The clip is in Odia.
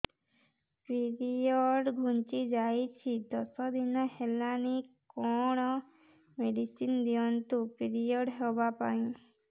ପିରିଅଡ଼ ଘୁଞ୍ଚି ଯାଇଛି ଦଶ ଦିନ ହେଲାଣି କଅଣ ମେଡିସିନ ଦିଅନ୍ତୁ ପିରିଅଡ଼ ହଵା ପାଈଁ